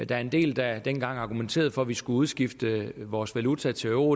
var en del der dengang argumenterede for at vi skulle udskifte vores valuta til euro